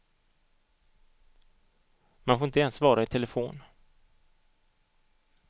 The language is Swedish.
Man får inte ens svara i telefonen.